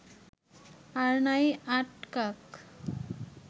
আর নাই আটকাক